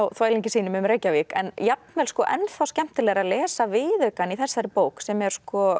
þvælingi sínum um Reykjavík en jafnvel skemmtilegra að lesa viðaukann í þessari bók sem er